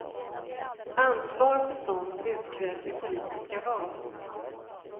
Ansvar för sådant utkrävs i politiska val.